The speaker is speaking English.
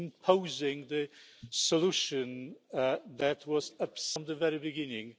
my God, we are living in two different worlds'. I wonder which one is the true one.